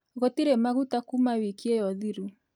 Gũtirĩ maguta kuuma wiki ĩyo thiru